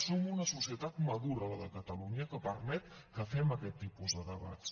som una societat madura la de catalunya que permet que fem aquests tipus de debats